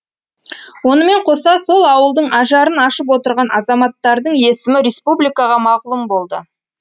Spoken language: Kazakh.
онымен қоса сол ауылдың ажарын ашып отырған азаматтардың есімі республикаға мағлұм болды